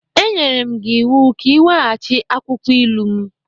M nyere gị ịwụ ka i weghachi akwukwọ ilu m!